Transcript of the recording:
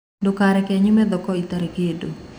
Ndũkareke nyume thoko itarĩ kĩndũ.